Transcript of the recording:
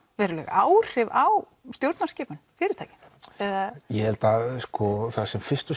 veruleg áhrif á stjórnarskipan fyrirtækja ég held að fyrst og